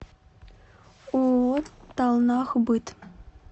ооо талнахбыт